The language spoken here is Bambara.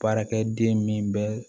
Baarakɛ den min bɛ